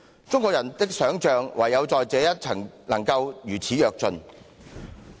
中國人的想象唯在這一層能夠如此躍進。